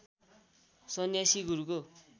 सन्यासी गुरुको